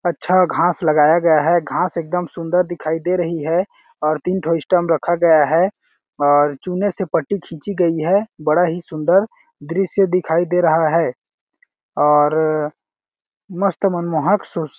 अच्छा घास लगाया गया है घास एकदम सुन्दर दिखाई दे रही है और तीन ठो स्टाम्प रखा गया है और चूने से पट्टी खींची गई है बड़ा ही सुन्दर दृश्य दिखाई दे रहा है और मस्त मनमोहक सोसे--